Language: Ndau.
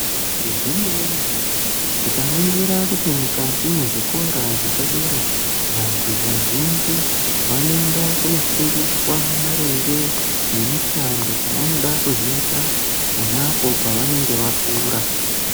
Zvemene-mene tikaningira kuti mukati mwezvikora zvepadera vantu vazhinji vanoenda kunofundiswa maringe nemushando dzavanoda kuzoita ponapo pavanenge vakura.